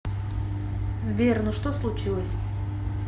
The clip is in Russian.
сбер ну что случилось